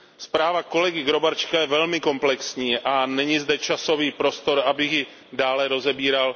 Zpráva kolegy Gróbarczyka je velmi komplexní a není zde časový prostor, abych ji dále rozebíral.